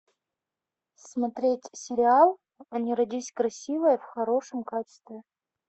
смотреть сериал не родись красивой в хорошем качестве